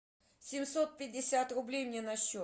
семьсот пятьдесят рублей мне на счет